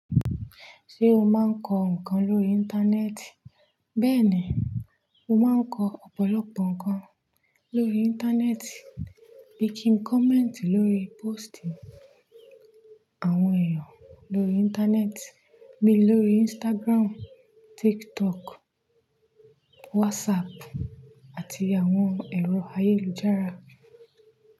Ṣé o máa ń kọ ǹkan lórí Íńtánẹ́ẹ̀tì? Bẹ́ẹ̀ni, mo máa ń kọ ọ̀pọ̀lọpọ̀ ǹkan lórí Íńtánẹ́ẹ̀tì bí i kí n comment lórí post àwọn èèyàn lórí Íńtánẹ́ẹ̀tì bí lórí Instagram, TikTok, WhatsApp àti àwọn ẹ̀rọ ayélujára.